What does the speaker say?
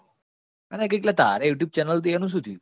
અને કંઈક અલા તારેય youtube channel હતી એનું શું થયું?